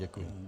Děkuji.